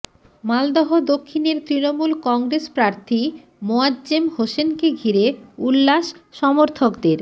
মালদহ দক্ষিণের তৃণমূল কংগ্রেস প্রার্থী মোয়াজ্জেম হোসেনকে ঘিরে উল্লাস সমর্থকদের